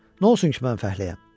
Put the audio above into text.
Nə olsun ki, mən fəhləyəm?